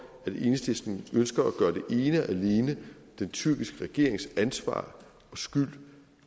enhedslisten ønsker at gøre det til ene og alene den tyrkiske regerings ansvar og skyld